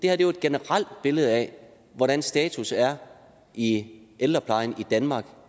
er jo et generelt billede af hvordan status er i ældreplejen i danmark